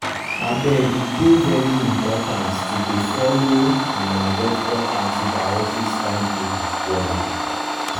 abege dey very important to dey follow una doctor antibiotics timetable wella.